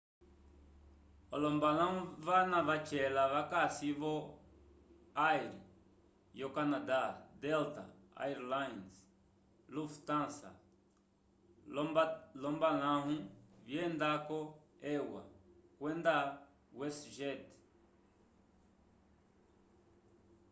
olombalahu vana vacela vakasi vo o air yo canada delta air lines lufthansa lo lombalahu vyenda ko eua kwenda west jet